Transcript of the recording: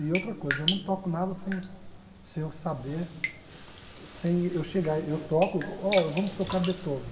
E outra coisa, eu não toco nada sem sem eu saber, sem eu chegar, eu toco, oh vamos tocar Beethoven.